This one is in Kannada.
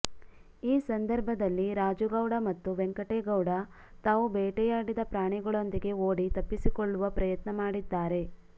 ಈ ಸಂದರ್ಭದಲ್ಲಿ ರಾಜುಗೌಡ ಮತ್ತು ವೆಂಕಟೇಗೌಡ ತಾವು ಬೇಟೆಯಾಡಿದ ಪ್ರಾಣಿಗಳೊಂದಿಗೆ ಓಡಿ ತಪ್ಪಿಸಿಕೊಳ್ಳುವ ಪ್ರಯತ್ನ ಮಾಡಿದ್ದಾರೆ